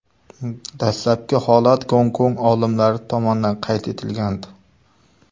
Dastlabki holat Gonkong olimlari tomonidan qayd etilgandi .